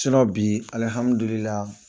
Sinɔ bi alihamudulila